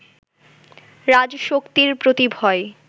রাজশক্তির প্রতি ভয়